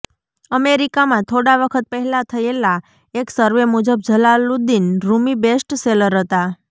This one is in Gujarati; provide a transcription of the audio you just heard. અમેરિકામાં થોડા વખત પહેલાં થયેલા એક સર્વે મુજબ જલાલુદીન રૂમી બેસ્ટ સેલર હતા